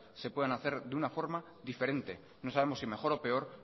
se puedan hacer de una forma diferente no sabemos si mejor o peor